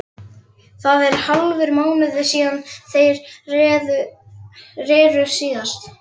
Það er hálfur mánuður síðan þeir reru síðast.